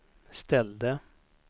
ställde